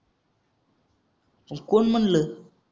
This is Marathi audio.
कोण म्हणलं